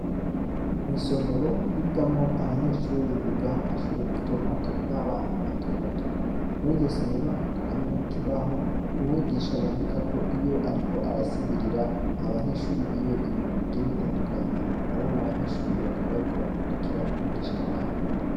Mw'isomero, higamwo abanyeshuri biga mu mashuri mato mato nk'abana bato bato; muri iryo somero, hakaba harimwo n'ikibaho, umwigisha yandikako, iyo ariko arasigurira abanyeshuri biwe, ibintu bigiye bitandukanye, hamwe n'abanyeshuri bakaba bariko barakurikira umwigisha wabo.